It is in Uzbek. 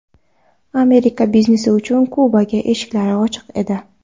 Amerika biznesi uchun Kubaga eshiklari ochiq edi.